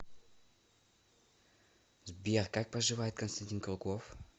сбер как поживает константин круглов